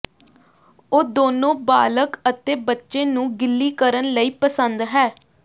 ਉਹ ਦੋਨੋ ਬਾਲਗ ਅਤੇ ਬੱਚੇ ਨੂੰ ਗਿੱਲੀ ਕਰਨ ਲਈ ਪਸੰਦ ਹੈ